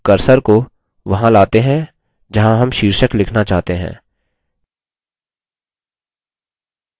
अब cursor को वहां लाते हैं जहाँ हम शीर्षक लिखना चाहते हैं